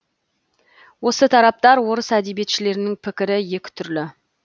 осы тарапта орыс әдебиетшілерінің пікірі екі түрлі